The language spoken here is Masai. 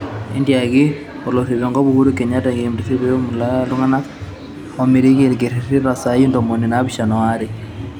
Etiaki olorik enkop, Uhuru Kenyatta KMC peetum alak iltungana omiraki ikiriri too saii ntomoni naapishana o are